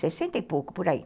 Sessenta e pouco, por aí.